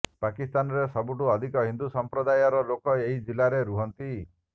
ପାକିସ୍ତାନରେ ସବୁଠୁ ଅଧିକ ହିନ୍ଦୁ ସମ୍ପ୍ରଦାୟର ଲୋକ ଏହି ଜିଲ୍ଲାରେ ରୁହନ୍ତି